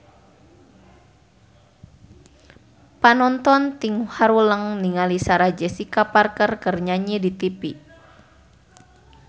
Panonton ting haruleng ningali Sarah Jessica Parker keur nyanyi di tipi